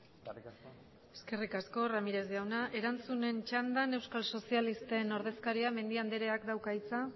eskerrik asko eskerrik asko ramírez jauna erantzunen txandan euskal sozialisten ordezkaria den mendia andereak dauka hitza